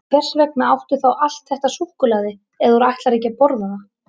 En hvers vegna áttu þá allt þetta súkkulaði ef þú ætlar ekki að borða það?